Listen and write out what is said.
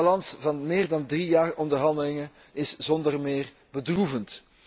De balans van meer dan drie jaar onderhandelingen is zonder meer bedroevend.